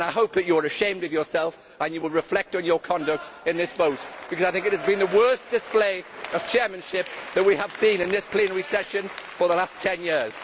I hope that you are ashamed of yourself and that you will reflect on your conduct in this vote, because I think this has been the worst display of chairmanship that we have seen in this plenary in the last ten years.